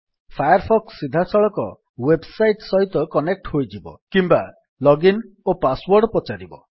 fire Fox ସିଧା ସଳଖ website ସହିତ କନେକ୍ଟ୍ ହୋଇଯିବ କିମ୍ୱା ଲଗିନ୍ ଓ ପାସୱର୍ଡ ପଚାରିବ